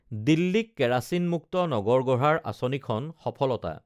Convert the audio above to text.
দিল্লীক কেৰাচিন মুক্ত নগৰ গঢ়াৰ আঁচনিখন সফলতা